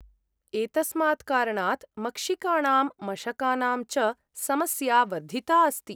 एतस्मात् कारणात् मक्षिकाणां मशकानां च समस्या वर्धिता अस्ति ।